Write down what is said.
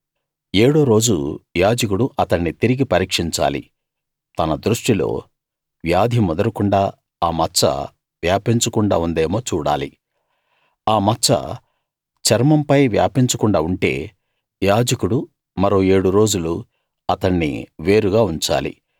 ఏడో రోజు యాజకుడు అతణ్ణి తిరిగి పరీక్షించాలి తన దృష్టిలో వ్యాధి ముదరకుండా ఆ మచ్చ వ్యాపించకుండా ఉందేమో చూడాలి ఆ మచ్చ చర్మంపై వ్యాపించకుండా ఉంటే యాజకుడు మరో ఏడు రోజులు అతణ్ణి వేరుగా ఉంచాలి